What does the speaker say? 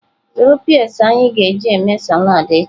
Zụrụ peas anyị ga-eji eme salad echi.